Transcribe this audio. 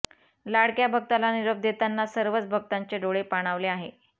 लाडक्या भक्ताला निरोप देताना सर्वच भक्तांचे डोळे पाणावले आहे